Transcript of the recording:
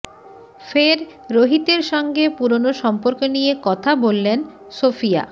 ফের রোহিতের সঙ্গে পুরনো সম্পর্ক নিয়ে কথা বললেন সোফিয়া